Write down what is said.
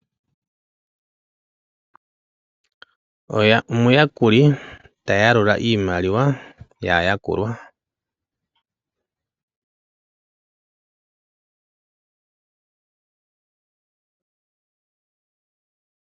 Omuyakuli ta yalula iimaliwa yaayakulwa.